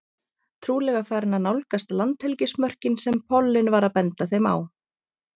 Trúlega farin að nálgast landhelgismörkin sem pollinn var að benda þeim á.